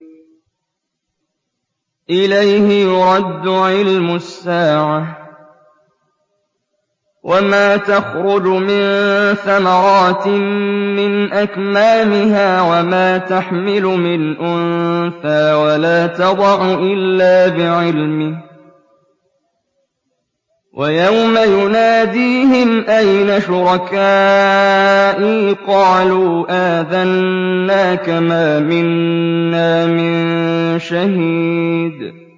۞ إِلَيْهِ يُرَدُّ عِلْمُ السَّاعَةِ ۚ وَمَا تَخْرُجُ مِن ثَمَرَاتٍ مِّنْ أَكْمَامِهَا وَمَا تَحْمِلُ مِنْ أُنثَىٰ وَلَا تَضَعُ إِلَّا بِعِلْمِهِ ۚ وَيَوْمَ يُنَادِيهِمْ أَيْنَ شُرَكَائِي قَالُوا آذَنَّاكَ مَا مِنَّا مِن شَهِيدٍ